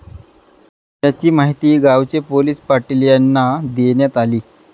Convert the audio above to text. याची माहिती गावचे पोलीस पाटील यांना देण्यात आली.